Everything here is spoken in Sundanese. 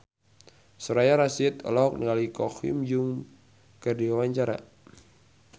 Soraya Rasyid olohok ningali Ko Hyun Jung keur diwawancara